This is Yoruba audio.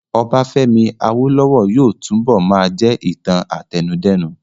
Ọbafẹ́mi Awólówọ̀ yóò túnbọ̀ máa jẹ́ ìtàn àtẹnudẹ́nu